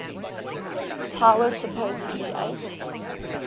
tower supposedly ate